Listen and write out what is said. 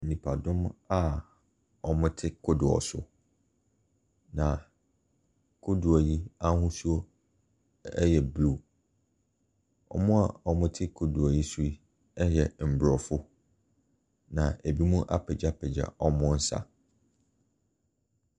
Nnipadɔm a wɔte kodoɔ so. Na kodoɔ yi ahosuo yɛ blue. Wɔn a wɔte kodoɔ yi so yi yɛ Mmorɔfo na ebinom apegyapegya a wɔresa.